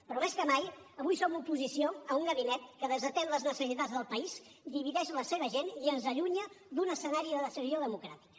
però més que mai avui som oposició a un gabinet que desatén les necessitats del país divideix la seva gent i ens allunya d’un escenari de decisió democràtica